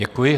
Děkuji.